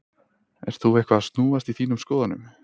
Ert þú eitthvað að snúast í þínum skoðunum?